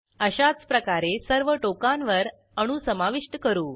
अशाच प्रकारे सर्व टोकांवर अणू समाविष्ट करू